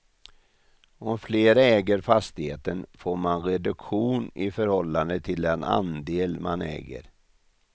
Om flera äger fastigheten får man reduktion i förhållande till den andel man äger.